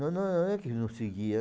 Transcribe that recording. Não não é que não seguia.